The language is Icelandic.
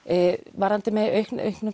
varðandi aukningu